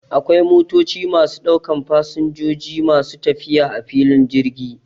Akwai motoci masu ɗaukan fasinjoji masu tafiya a filin jirgi